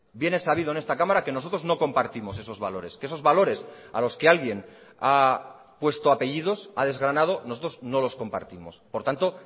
bien es sabido en esta cámara que nosotros no compartimos esos valores que esos valores a los que alguien ha puesto apellidos ha desgranado nosotros no los compartimos por tanto